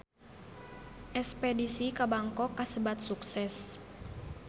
Espedisi ka Bangkok kasebat sukses